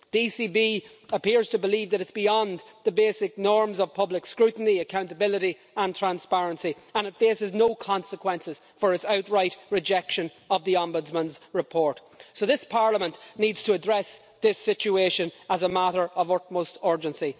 The ECB appears to believe that it is beyond the basic norms of public scrutiny, accountability and transparency, and it faces no consequences for its outright rejection of the Ombudsman's report. So this Parliament needs to address this situation as a matter of utmost urgency.